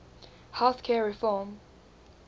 health care reform